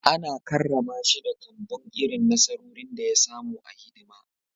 Ana karrama shi da kambun irin nasarorin da ya samu a hidima